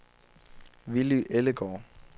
Villy Ellegaard